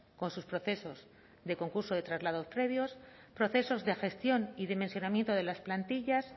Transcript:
con sus procesos de concurso de traslados previos procesos de gestión y dimensionamiento de las plantillas